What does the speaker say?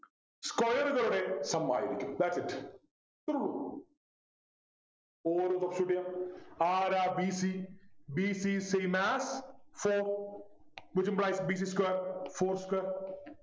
square കളുടെ sum ആയിരിക്കും thats it ഇത്രയുള്ളൂ substitute ചെയ്യാ ആരാ b c b c same as four which implies b c square four square